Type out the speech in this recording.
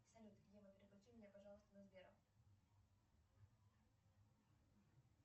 салют ева переключи меня пожалуйста на сбера